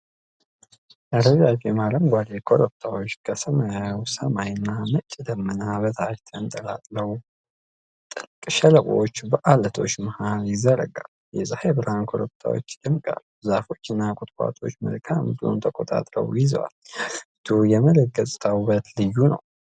ረዣዥም አረንጓዴ ኮረብታዎች ከሰማያዊ ሰማይ እና ነጭ ደመና በታች ተንጣለዋል። ጥልቅ ሸለቆዎች በዐለቶች መሀል ይዘረጋሉ። የፀሐይ ብርሃን ኮረብታዎቹን ያደምቃል። ዛፎች እና ቁጥቋጦዎች መልክዓ ምድሩን ተቆጣጥረው ይዘዋል። የአገሪቱ የመሬት ገጽታ ውበት ልዩ ነው።